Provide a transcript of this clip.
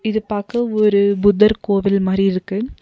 இது பாக்க ஒரு புத்தர் கோவில் மாரி இருக்கு.